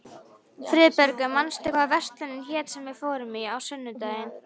Friðbergur, manstu hvað verslunin hét sem við fórum í á sunnudaginn?